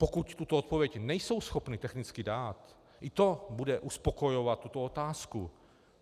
Pokud tuto odpověď nejsou schopni technicky dát, i to bude uspokojovat tuto otázku.